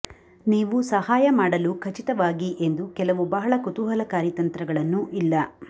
ನೀವು ಸಹಾಯ ಮಾಡಲು ಖಚಿತವಾಗಿ ಎಂದು ಕೆಲವು ಬಹಳ ಕುತೂಹಲಕಾರಿ ತಂತ್ರಗಳನ್ನು ಇಲ್ಲ